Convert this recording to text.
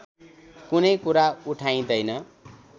कुनै कुरा उठाइँदैन